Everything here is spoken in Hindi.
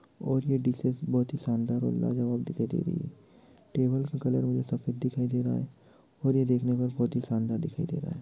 और ये डिसेज शानदार और लाजवाब दिखाई दे रही है| टेबल का कलर सफेद दिखाई दे रहा है और ये देखने में बहुत ही शानदार दिखाई दे रहा है।